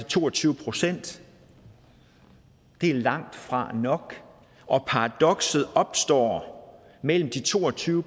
to og tyve procent det er langtfra nok og paradokset opstår mellem de to og tyve